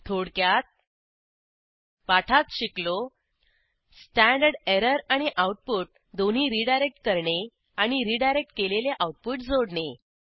थोडक्यात पाठात शिकलो स्टँडर्ड एरर आणि आऊटपुट दोन्ही रीडायरेक्ट करणे आणि रीडायरेक्ट केलेले आऊटपुट जोडणे